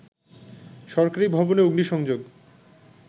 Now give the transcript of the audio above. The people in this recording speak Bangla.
সরকারি ভবনে অগ্নিসংযোগ